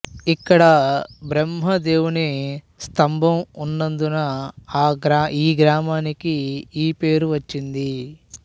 ఇక్కడ బ్రహ్మదేవుని స్తంభం ఉన్నందున ఈ గ్రామానికి ఈ పేరు వచ్చింది